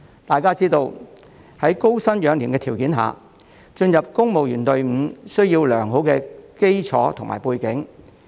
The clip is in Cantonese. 大家皆知道，在高薪養廉的條件下，進入公務員隊伍需要良好基礎及背景。